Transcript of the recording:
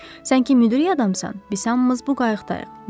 Sən ki müdrik adamsan, biz hamımız bu qayıqdayıq.